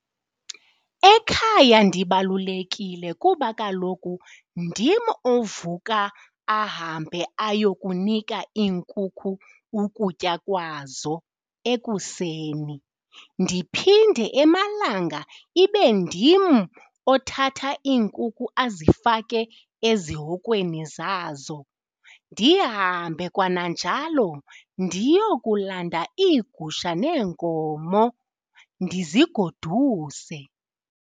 Ekhaya ndibalulekile kuba kaloku ndim ovuka ahambe ayokunika iinkukhu ukutya kwazo ekuseni, ndiphinde emalanga ibe ndim othatha iinkukhu azifake ezihokweni zazo ndihambe kananjalo ndiyokulanda iigusha neenkomo ndizigoduse.